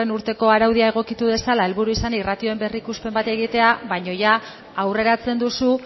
urteko araudia egokitu dezala helburu izanik ratioen berrikuspen bat egitea baina aurreratzen duzu